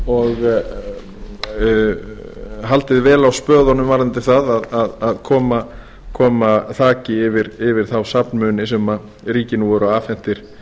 og haldið vel á spöðunum varðandi það að koma þaki yfir þá safnmuni sem ríkinu voru afhentir